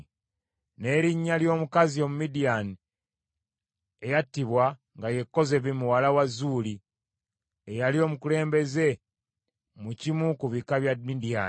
N’erinnya ly’omukazi Omumidiyaani eyattibwa nga ye Kozebi muwala wa Zuuli, eyali omukulembeze mu kimu ku bika bya Midiyaani.